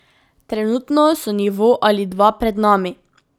Trenutno so nivo ali dva pred nami.